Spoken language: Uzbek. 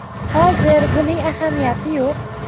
Hozir buning ahamiyati yo‘q.